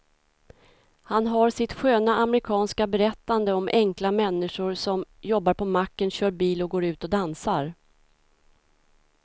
Han har sitt sköna amerikanska berättande om enkla människor som jobbar på macken, kör bil och går ut och dansar.